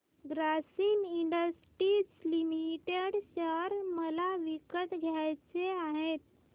Grasim industries limited share मला विकत घ्यायचे आहेत